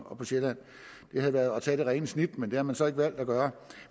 og på sjælland det havde været at tage det rene snit men det har man så ikke valgt at gøre